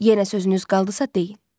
Yenə sözünüz qaldısa deyin.